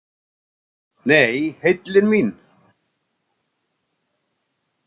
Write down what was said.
Nei, heillin mín.